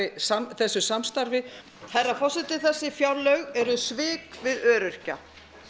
þessu samstarfi herra forseti þessi fjárlög eru svik við öryrkja